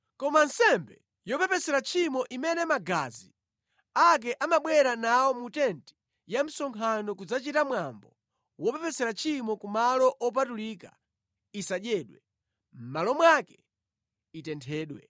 Koma nsembe yopepesera tchimo imene magazi ake amabwera nawo mu tenti ya msonkhano kudzachita mwambo wopepesera tchimo ku malo opatulika isadyedwe, mʼmalo mwake itenthedwe.’ ”